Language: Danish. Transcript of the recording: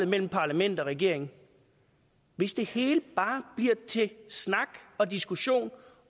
mellem parlament og regering hvis det hele bare bliver til snak og diskussion